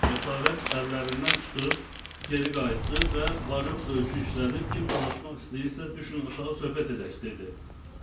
Cəsarət əllərindən çıxıb geri qayıtdı və "Varyoğ" söyüşü işlədib, kim dolaşmaq istəyirsə düşünsün aşağı söhbət edək dedi.